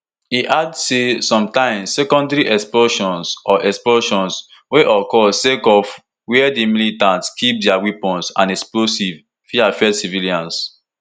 e add say sometimes secondary explosions or explosions wey occur sake of wia di militants keep dia weapons and explosives fit affect civilians